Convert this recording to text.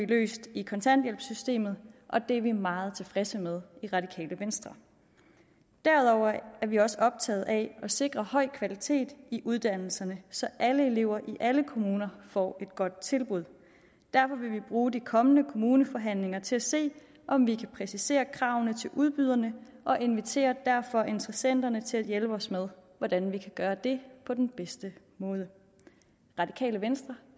løst i kontanthjælpssystemet og det er vi meget tilfredse med i radikale venstre derudover er vi også optaget af at sikre høj kvalitet i uddannelserne så alle elever i alle kommuner får et godt tilbud derfor vil vi bruge de kommende kommuneforhandlinger til at se om vi kan præcisere kravene til udbyderne og inviterer derfor interessenterne til at hjælpe os med hvordan vi kan gøre det på den bedste måde radikale venstre